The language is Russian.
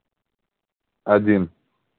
один